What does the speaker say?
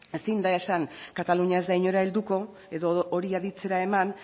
ezin da esan katalunia ez da inora helduko edo hori aditzera eman